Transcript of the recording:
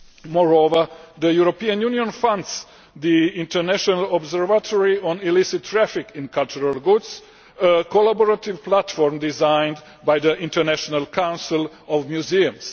Moreover, the European Union funds the International Observatory on Illicit Traffic in Cultural Goods, a collaborative platform designed by the International Council of Museums.